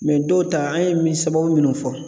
dɔw ta an ye min sababu minnu fɔ